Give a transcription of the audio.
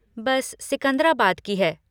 बस सिकंद्राबाद की है।